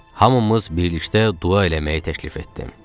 Hamımız birlikdə dua eləməyi təklif etdik.